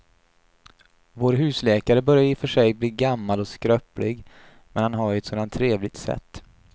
Vår husläkare börjar i och för sig bli gammal och skröplig, men han har ju ett sådant trevligt sätt!